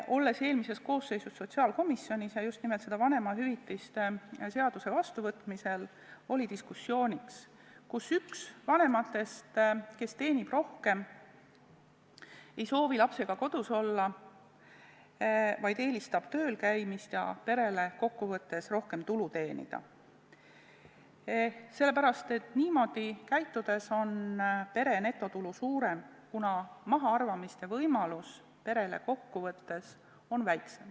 Olin eelmises koosseisus sotsiaalkomisjonis ja just nimelt vanemahüvitiste seaduse vastuvõtmise ajal oli diskussioon, et üks vanematest, kes teenib rohkem, ei soovi lapsega kodus olla, vaid eelistab töölkäimist ja perele kokkuvõttes rohkem tulu teenimist, sest niimoodi käitudes on pere netotulu suurem, kuna mahaarvamiste võimalus perel on väiksem.